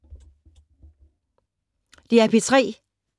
DR P3